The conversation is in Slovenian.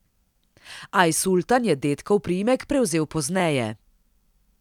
Ajsultan je dedkov priimek prevzel pozneje.